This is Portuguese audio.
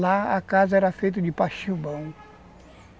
Lá a casa era feita de pachibão.